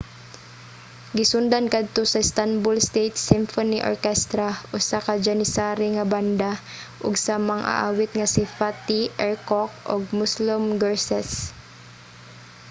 gisundan kadto sa istanbul state symphony orchestra usa ka janissary nga banda ug sa mag-aawit nga si fatih erkoç ug müslüm gürses